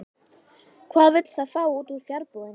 Hvað vill það fá út úr fjarbúðinni?